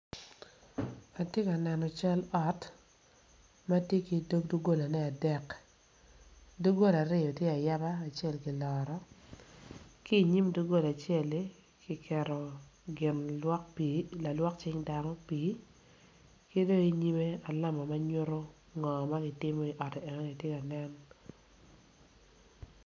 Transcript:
Ati ka neno cal ot ma ti ki dog dugolane adek duggola acel tye ayaba acel kiloro ki inyim dugola acel-li kiketo gin lalwok pii i lalwok cing dano pii ki be inyimme alama ma nyutu ngo ma ki timo i otti enoni tye ka nen